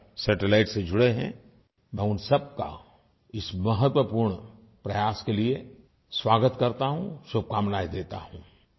आ satellite से जुड़े हैं मैं उन सबका इस महत्वपूर्ण प्रयास के लिये स्वागत करता हूँ शुभकामनाएं देता हूँ